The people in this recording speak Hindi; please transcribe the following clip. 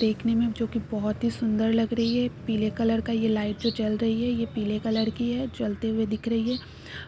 देखने में जो कि बहोत ही सुंदर लग रही है। पीले कलर का यह जो लाइट जल रही है। ये पीले कलर की है जलते हुई दिख रही है